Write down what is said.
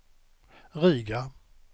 Riga